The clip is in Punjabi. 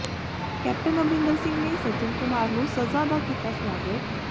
ਕੈਪਟਨ ਅਮਰਿੰਦਰ ਸਿੰਘ ਨੇ ਸੱਜਣ ਕੁਮਾਰ ਨੂੰ ਸਜ਼ਾ ਦਾ ਕੀਤਾ ਸਵਾਗਤ